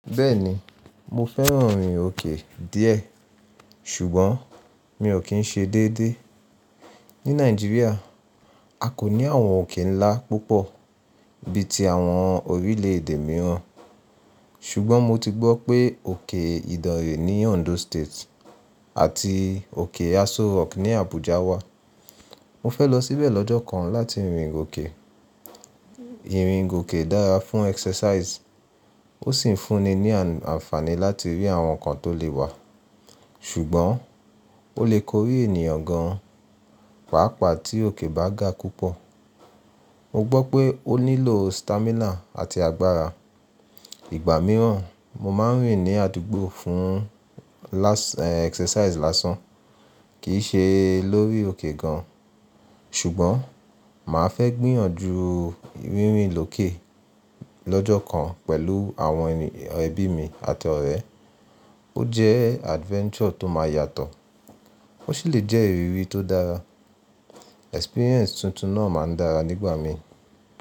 Bẹ́ẹ̀ni, mo fẹ́ràn ìrìn òkè díẹ̀ ṣùgbọ́n mi ò kí ń ṣe déédéé. Ní Nàìjíríà, a kò ní àwọn òkè ńlá púpọ̀ bí i ti àwọn orílẹ̀èdè mìíràn ṣùgbọ́n mo ti gbọ́ pé òkè Ìdànrè ní Ondo State àti òkè Aso Rock ní Abuja wà. Mo fẹ́ lọ síbẹ̀ lọ́jọ́ kan láti rìn òkè. Ìrìn gòkè dára fún exercise ó sì ń fúnni ní àǹfààní láti rí àwọn nǹkan tó le wà, ṣùgbọ́n ó lè korí ènìyàn gan páápàá tí òkè bá ga púpọ̀. Mo gbọ́ pé ó nílò stamina àti agbára. Igba mìíràn mo máa ń rìn ní àdúgbò fún last e exercise lásán kì í se lórí òkè gan ṣùgbọ́n mà á fẹ́ gbìyànjú rìnrin lòkè lọ́jọ́ kan pẹ̀lú àwọn ẹbí mi àti ọ̀rẹ́. Ó jẹ́ adventure tó máa yàtọ̀ ó sì lè jẹ́ ìrírí tó dára. Experience tuntun náà máa dára nígbà mi.